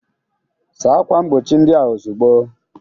Sacha akwa mgbochi ndị a ozugbo!